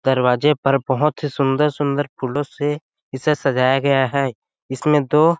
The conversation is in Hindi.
दरवाजे पर बहुत ही सुंदर-सुंदर फूलों से इसे सजाया गया है इसमें दो --